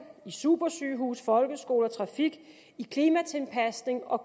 i supersygehuse i folkeskoler i trafik i klimatilpasning og